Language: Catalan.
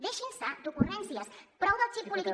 deixin se d’ocurrències prou del xip polític